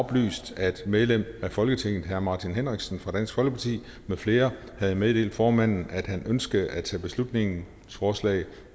oplyst at medlem af folketinget herre martin henriksen fra dansk folkeparti med flere havde meddelt formanden at han ønskede at tage beslutningsforslag